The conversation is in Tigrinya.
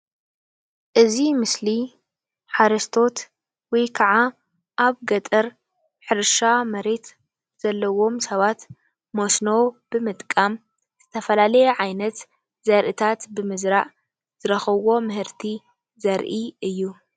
እዚ ምስሊ ሓረስቶት ወይካዓ ኣብ ገጠር ሕርሻ መሬት ዘለዎም ሰባት መስኖ ብምጥቃም ዝተፈላለየ ዓይነት ዘርእታት ብምዝራእ ዝረከብዎ ምህርቲ ዘረኢ እዩ::